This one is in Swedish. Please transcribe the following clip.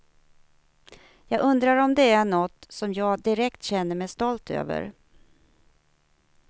Jag undrar om det är något soÿm jag direkt känner mig stolt över.